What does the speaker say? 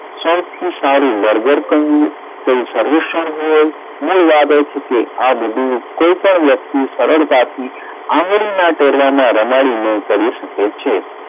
સૌથી સારું કહું કોઈ સર્વેક્ષણ હોય મૂળ વાત એ છે કે આ બધું કોઈ પણ વ્યક્તિ સરળતાથી આંગળીનાં ટેડવામાં રમાડીને કરી શકે છે.